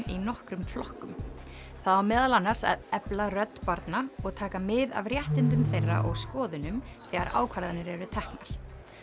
í nokkrum flokkum það á meðal annars að efla rödd barna og taka mið af réttindum þeirra og skoðunum þegar ákvarðanir eru teknar